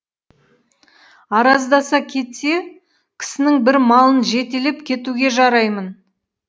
араздаса кетсе кісінің бір малын жетелеп кетуге жараймын